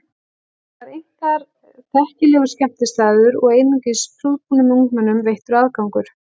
Þetta væri einkar þekkilegur skemmtistaður og einungis prúðbúnum ungmennum veittur aðgangur.